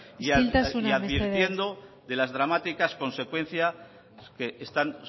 isiltasuna mesedez y advirtiendo de las dramáticas consecuencias que están